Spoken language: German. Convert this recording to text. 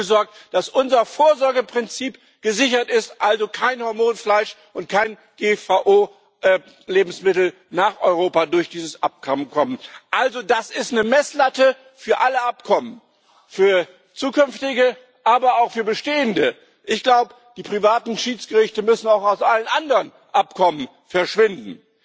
Wir haben dafür gesorgt, dass unser Vorsorgeprinzip gesichert ist, dass also kein Hormonfleisch und keine GVO Lebensmittel durch dieses Abkommen nach Europa kommen. Also, das ist eine Messlatte für alle Abkommen für zukünftige, aber auch für bestehende. Ich glaube, die privaten Schiedsgerichte müssen auch aus allen anderen Abkommen verschwinden.